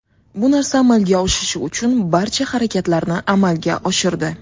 Bu narsa amalga oshishi uchun barcha harakatlarni amalga oshirdi.